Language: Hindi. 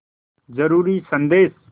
ज़रूरी संदेश